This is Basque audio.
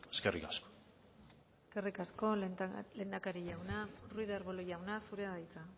eskerrik asko eskerrik asko lehendakari jauna ruiz de arbulo jauna zurea da hitza